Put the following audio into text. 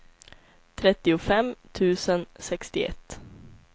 trettiofem tusen sextioett